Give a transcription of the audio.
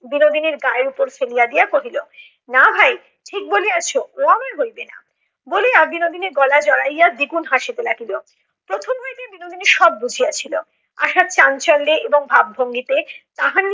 বিনোদিনীর গায়ের উপর ফেলিয়া দিয়া কহিল না ভাই ঠিক বলিয়াছ ও আমার হইবে না বলিয়া বিনোদিনীর গলায় জড়াইয়া দ্বিগুণ হাসিতে লাগিল। প্রথম হইতে বিনোদিনী সব বুঝিয়াছিল। আশার চাঞ্চল্যে এবং ভাব ভঙ্গিতে তাহার